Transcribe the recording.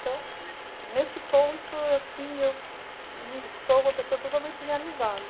Então, nesse ponto, assim, eu me sou uma pessoa totalmente realizada.